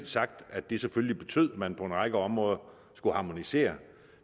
sagt at det selvfølgelig betød at man på en række områder skulle harmonisere